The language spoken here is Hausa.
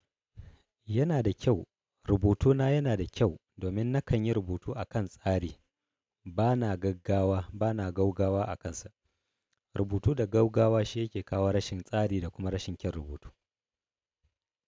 Yana da kyau, rubutuna yana da kyau domin na kan yi rubutu a kan tsari. Bana gaggawa, bana gaugawa a kansa. Rubutu da gaugawa shi yake kawo rashin tsari da kuma rashin kyan rubutu.